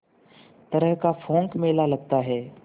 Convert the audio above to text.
तरह का पोंख मेला लगता है